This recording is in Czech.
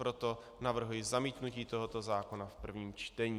Proto navrhuji zamítnutí tohoto zákona v prvním čtení.